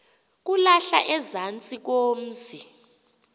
kulahlwa ezantsi komzi